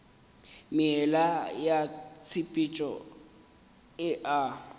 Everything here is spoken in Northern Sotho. meela ya tshepetšo e a